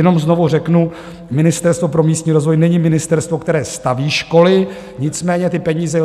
Jenom znovu řeknu, Ministerstvo pro místní rozvoj není ministerstvo, které staví školy, nicméně ty peníze